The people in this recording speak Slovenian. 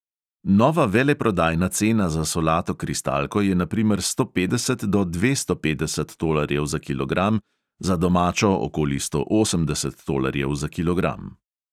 Nova veleprodajna cena za solato kristalko je na primer sto petdeset do dvesto petdeset tolarjev za kilogram, za domačo okoli sto osemdeset tolarjev za kilogram.